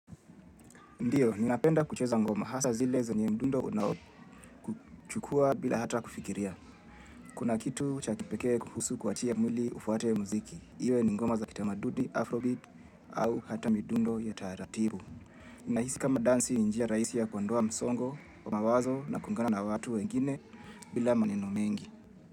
Ndio, ninapenda kucheza ngoma hasa zile zenye mdundo unao kuchukua bila hata kufikiria. Kuna kitu cha kipekee kuhusu kuachia mwili ufuate mziki. Iwe ni ngoma za kitamaduni, afrobeat au hata mdundo ya taratibu. Inahisi kama dansi ni njia rahisi ya kuondoa msongo, mawazo na kuungana na watu wengine bila maneno mengi.